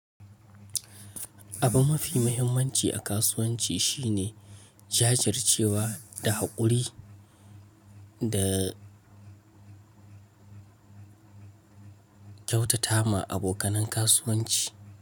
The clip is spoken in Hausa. Abu mafi muhimmanci a kasuwanci shine jajircewa da haƙuri da kyautata ma abokan kasuwanci.